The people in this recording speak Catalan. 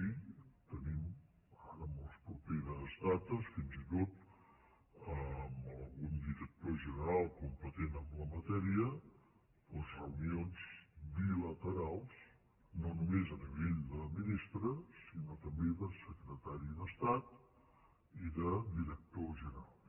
i te·nim ara en les properes dates fins i tot amb algun director general competent en la matèria doncs re·unions bilaterals no només a nivell de ministre sinó també de secretari d’estat i de director general